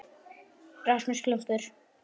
Alls gaus þarna